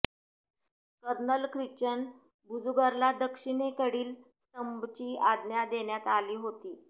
colonel Christian बुजुर्गला दक्षिणेकडील स्तंभची आज्ञा देण्यात आली होती